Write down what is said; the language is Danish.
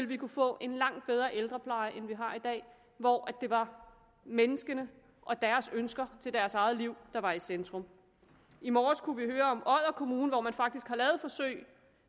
vi kunne få en langt bedre ældrepleje end vi har i dag hvor det var menneskene og deres ønsker til deres eget liv der var i centrum i morges kunne vi høre om odder kommune hvor man faktisk har lavet et forsøg